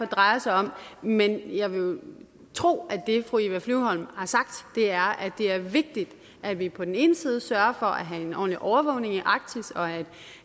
drejer sig om men jeg vil tro at det fru eva flyvholm har sagt er at det er vigtigt at vi på den ene side sørger for at have en ordentlig overvågning i arktis og at